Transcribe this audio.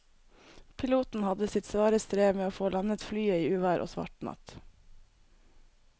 Piloten hadde sitt svare strev med å få landet flyet i uvær og svart natt.